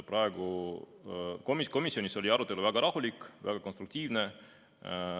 Komisjonis oli arutelu väga rahulik, väga konstruktiivne.